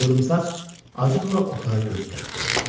Qıvrımsaç acıqla otağa göz gəzdirdi.